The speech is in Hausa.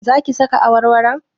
Za ki saka awarwaron?